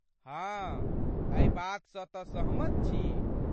हाँ, एहि बातसँ तँ सहमत छी।